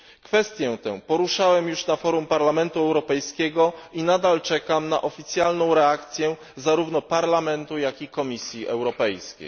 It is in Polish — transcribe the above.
Kwestię tę poruszałem już na forum Parlamentu Europejskiego i nadal czekam na oficjalną reakcję zarówno Parlamentu, jak i Komisji Europejskiej.